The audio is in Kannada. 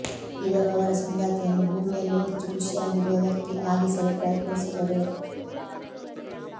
ಇವರು ಅವರ ಸಂಗಾತಿಯನ್ನು ಭೂಮಿಯಲ್ಲೇ ಹೆಚ್ಚು ಖುಷಿಯಾಗಿರುವ ವ್ಯಕ್ತಿ ಆಗಿಸಲು ಪ್ರಯತ್ನಿಸುವರು